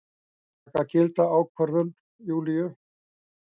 Taka gilda ákvörðun Júlíu.